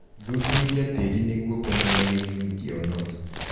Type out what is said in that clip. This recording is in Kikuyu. Thuthuria tĩrĩ nĩguo kũmenya gĩthimi kia ũnoru.